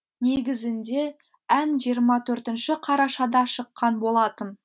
негізінде ән жиырма төртінші қарашада шыққан болатын